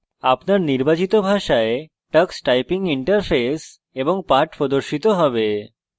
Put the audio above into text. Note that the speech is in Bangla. আপনার নির্বাচিত ভাষায় tux typing interface এবং পাঠ প্রদর্শিত হবে